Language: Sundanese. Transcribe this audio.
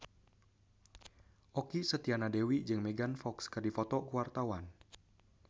Okky Setiana Dewi jeung Megan Fox keur dipoto ku wartawan